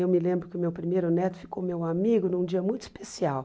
Eu me lembro que o meu primeiro neto ficou meu amigo num dia muito especial.